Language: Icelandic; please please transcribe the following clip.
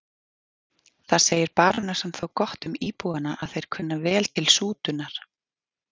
Það segir barónessan þó gott um íbúana að þeir kunna vel til sútunar.